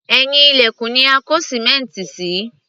Ẹ̀yìn ilẹ̀kùn ni a kó sìmẹ́ǹtì sí